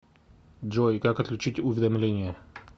джой как отключить уведомление